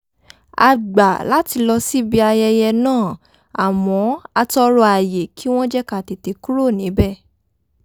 a gbà láti lọ síbi ayẹyẹ náà àmọ́ a tọrọ àyè kí wọ́n jẹ́ ká tètè kúrò níbẹ̀